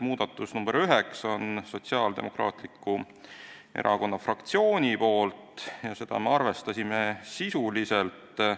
Muudatusettepanek nr 9 on Sotsiaaldemokraatliku Erakonna fraktsioonilt, seda me arvestasime sisuliselt.